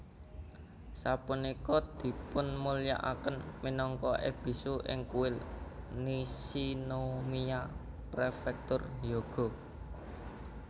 Sapunika dipunmulyakaken minangka Ebisu ing Kuil Nishinomiya Prefektur Hyogo